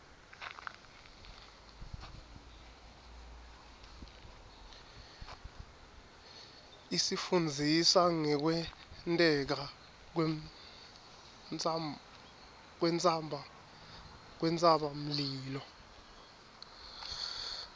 isifundzisa ngekwenteka kwentsabamlilo